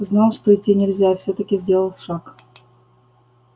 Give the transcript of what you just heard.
знал что идти нельзя и всё-таки сделал шаг